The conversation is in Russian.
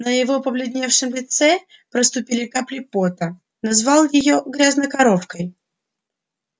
на его побледневшем лице проступили капли пота назвал её грязнокоровкой